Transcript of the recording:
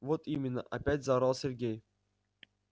вот именно опять заорал сергей